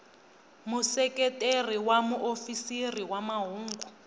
museketeri wa muofisiri wa mahungu